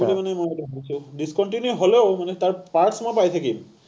সেইকাৰণে মই মানে ভাবিছো, discontinue হ’লেও মানে তাৰ parts মই পাই থাকিম।